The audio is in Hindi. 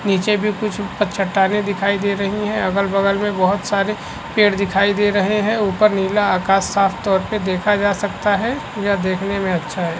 नीचे भी कुछ चट्टानें दिखाई दे रही है अगल-बगल में बहोत सारे पेड़ दिखाई दे रहे है ऊपर नीला आकाश साफ तौर पे देखा जा सकता है यह देखने में अच्छा है।